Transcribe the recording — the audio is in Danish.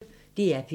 DR P1